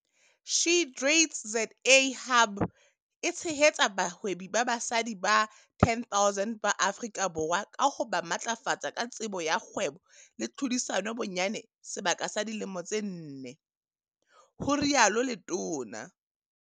"SheTradesZA Hub e tshehetsa bahwebi ba basadi ba 10 000 ba Afrika Borwa ka ho ba matlafatsa ka tsebo ya kgwebo le tlhodisano bonyane sebaka sa dilemo tse nne," ho rialo letona.